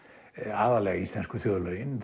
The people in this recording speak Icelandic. aðallega íslensku þjóðlögin